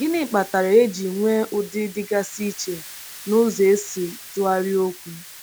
Gịnị kpatara eji nwee ụdị dịgasị iche n’ụzọ e si tụgharịa okwu?